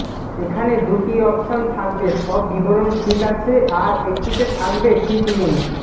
এখানে দুটি অপশান থাকবে সব বিবরন ঠিক আছে আর একটিতে থাকবে ঠিক নেই